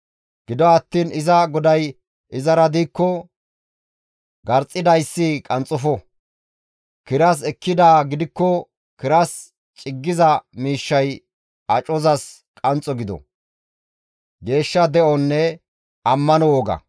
Gido attiin iza goday izara diikko, garxxidayssi qanxxofo; kiras ekkidaa gidikko kiras ciggiza miishshay acozas qanxxo gido.